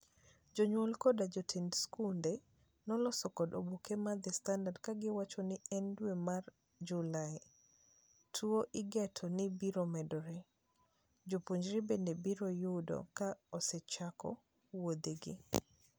Jonyuol kod jotend skunde noloso kod oboke mar The Standard kagiwacho ni e dwe no mar July, tuo igeto ni biro medore. Jopuonjre bende biro yudo ka osechako wuodhe gi.